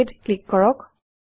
OK ত click কৰক